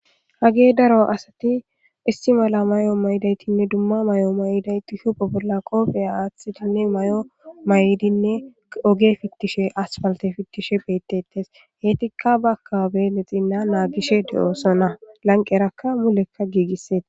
hage daro asati istimala may7o maydaytinne dumma may7o mayday tuhupe bolla qoofeya aaththitinne may7o may7idinne oge fittishe aspalte fittishe beettetes heetikka ba akabe lexinna naagishe de7oosona lanqerakka mulekka giigisseeta